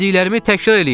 Dediklərimi təkrar eləyin!